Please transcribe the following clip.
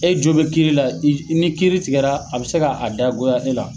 E jo be kiiri la , ni kiiri tigɛ la a be se ka dagoya e la.